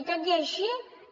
i tot i així